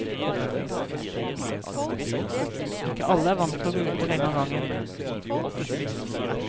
Ikke alle er vant til å gå ute lenge ad gangen.